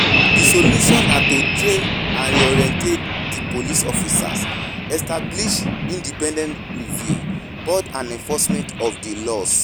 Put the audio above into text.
di solution na to train and reorient di police officers, establish independent review board and enforcement of di laws.